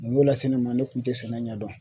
Mun y'o lase ne ma ne kun tɛ sɛnɛ ɲɛdɔn